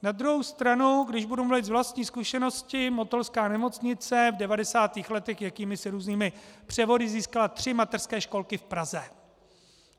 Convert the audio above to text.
Na druhou stranu, když budu mluvit z vlastní zkušenosti, motolská nemocnice v 90. letech jakýmisi různými převody získala tři mateřské školky v Praze.